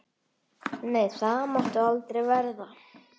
Nei, það má aldrei verða.